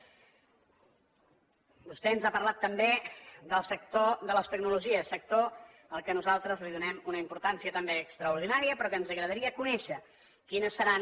vostè ens ha parlat també del sector de les tecnologies sector al qual nosaltres donem una importància també extraordinària però ens agradaria conèixer quines seran